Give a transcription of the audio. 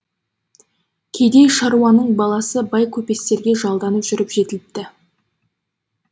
кедей шаруаның баласы бай көпестерге жалданып жүріп жетіліпті